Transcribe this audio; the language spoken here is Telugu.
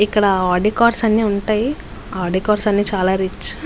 ఇక్కడ ఆడి కార్స్ అన్నీ ఉంటాయి ఆడి కార్స్ అంటే చాలా రిచ్ .